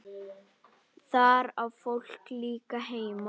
Þar á fólk líka heima.